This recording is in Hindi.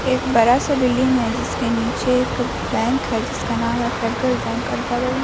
एक बड़ा सा बिल्डिंग है जिसके नीचे एक बैंक है जिसका नाम है फ़ेडरल बैंक और बगल में --